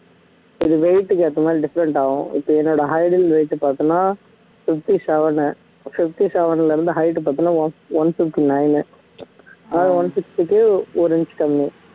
இது weight க்கு ஏத்த மாதிரி different ஆகும் இப்ப என்னோட height and weight பார்த்தோம்ன்னா fifty seven fifty seven ல இருந்து height பாத்தினா one one fifty nine ஆஹ் one fifty க்கு ஒரு inch கம்மி